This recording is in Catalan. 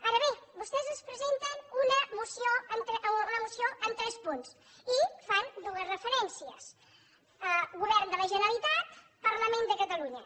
ara bé vostès ens presenten una moció amb tres punts i fan dues referències govern de la generalitat parlament de catalunya